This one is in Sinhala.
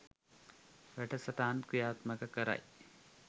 වැඩසටහන් ක්‍රියාත්මක කරයි